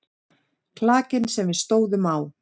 Klakinn sem við stóðum á.